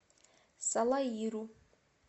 салаиру